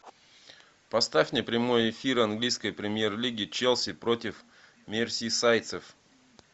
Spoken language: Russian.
поставь мне прямой эфир английской премьер лиги челси против мерсисайдцев